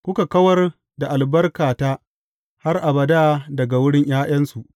Kuka kawar da albarkata har abada daga wurin ’ya’yansu.